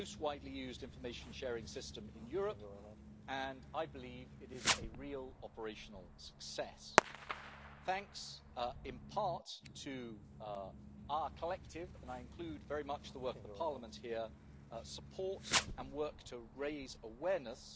is the most widely used information sharing system in Europe and I believe it is a real operational success, thanks in part to our collective and I include very much the work of the Parliament here support and work to raise awareness.